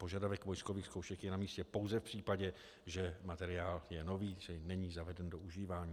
Požadavek vojskových zkoušek je na místě pouze v případě, že materiál je nový, čili není zaveden do užívání.